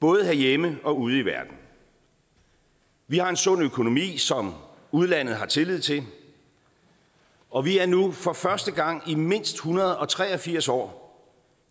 både herhjemme og ude i verden vi har en sund økonomi som udlandet har tillid til og vi er nu for første gang i mindst en hundrede og tre og firs år